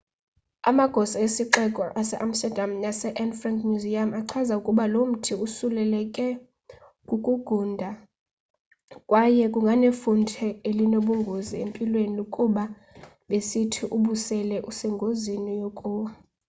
amagosa esixeko sase amsterdam nase anne frank museum achaza ukuba lomthi usuleleke kukungunda kwaye kunganefuthe elinobungozi empilweni kuba besithi ubusele usengozini yokuwa